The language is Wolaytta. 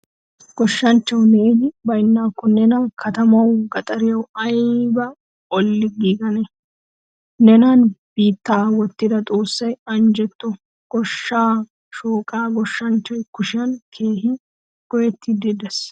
Goshshanchchawu neeni baynakko neena katamawu gaxariyawu ayba olli giigannee? Nenane biitta wottida Xoossi anjjetto. Goshshaa shooqqay goshshanchchaa kushiyan keehin goyettiidi de'ees.